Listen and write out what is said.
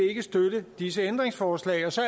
støtte disse ændringsforslag og så